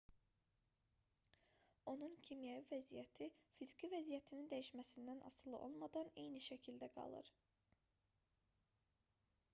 onun kimyəvi vəziyyəti fiziki vəziyyətinin dəyişməsindən asılı olmadan eyni şəkildə qalır